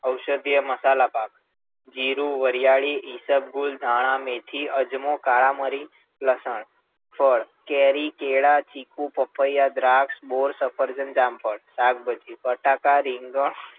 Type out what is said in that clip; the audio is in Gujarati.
ઔષધીય મસાલા પાક, જીરું, વરિયાળી, ઈસબગુલ, ધાણા, મેથી, અજમો, કાળા મરી, લસણ, ફળ, કેરી, કેળાં, ચીકુ, પપૈયાં, દ્રાક્ષ, બોર, સફરજન, જામફળ, શાકભાજી, બટાટા, રીંગણ,